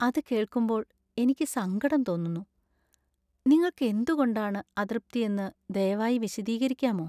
അത് കേൾക്കുമ്പോൾ എനിക്ക് സങ്കടം തോന്നുന്നു. നിങ്ങൾക്ക് എന്തുകൊണ്ടാണ് അതൃപ്തി എന്ന് ദയവായി വിശദീകരിക്കാമോ?